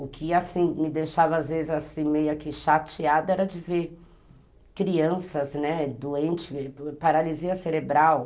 O que, assim, me deixava, às vezes, assim, meio que chateada era de ver crianças, né, doentes, paralisia cerebral.